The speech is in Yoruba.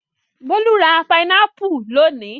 Bólú ra pinápù lónìí.